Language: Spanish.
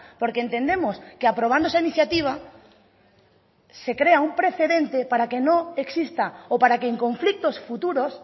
porque entendemos que aprobando esa iniciativa se crea un precedente para que no exista o para que en conflictos futuros